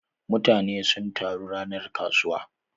Mutane sun taru ranar kasuwa.